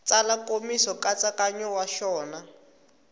tsala nkomiso nkatsakanyo wa xona